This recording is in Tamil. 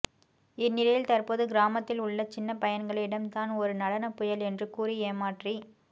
இந்நிலையில் தற்போது கிராமத்தில் உள்ள சின்ன பையன்களிடம் தான் ஒரு நடன புயல் என்று கூறி ஏமாற்றி